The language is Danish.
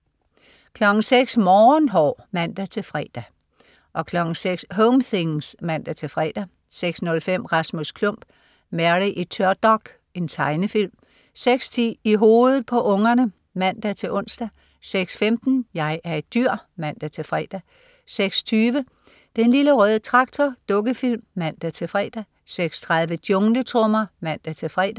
06.00 Morgenhår (man-fre) 06.00 Home things (man-fre) 06.05 Rasmus Klump. Mary i tørdok. Tegnefilm 06.10 I hovedet på unger (man-ons) 06.15 Jeg er et dyr! (man-fre) 06.20 Den lille røde traktor. Dukkefilm (man-fre) 06.30 Jungletrommer (man-fre)